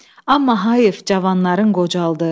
Amma Həyif Cavanların qocaldı.